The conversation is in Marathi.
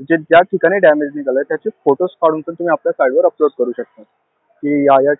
आणि ज्या ठिकाणी damage झालंय त्याचे photos काढून पण तुम्ही आपल्या site वर upload करू शकता. कि ह्या ह्या